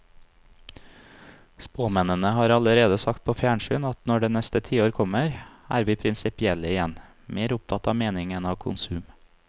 Spåmennene har allerede sagt på fjernsyn at når neste tiår kommer, er vi prinsipielle igjen, mer opptatt av mening enn av konsum.